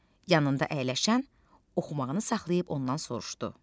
Yanında əyləşən oxumağını saxlayıb ondan soruşdu.